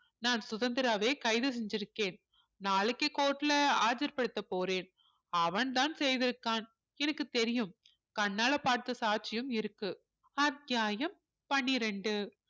நான் சுதந்திராவை கைது செஞ்சிருக்கேன் நாளைக்கு court ல ஆஜர் படுத்த போறேன் அவன் தான் செய்திருக்கான் எனக்கு தெரியும் கண்ணால பார்த்த சாட்சியும் இருக்கு அத்யாயம் பன்னிரெண்டு